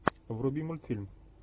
вруби мультфильм